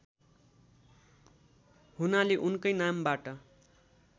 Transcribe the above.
हुनाले उनकै नामबाट